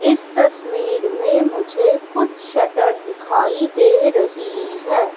इस तस्वीर में मुझे कुछ शटर दिखाई दे रही है।